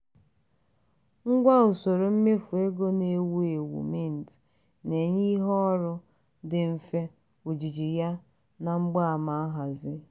ngwa usoro mmefu ego na-ewu ewu mint na-enye ihu ọrụ dị mfe ojiji ya na mgbaama nhazi.